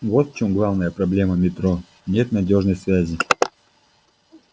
вот в чем главная проблема метро нет надёжной связи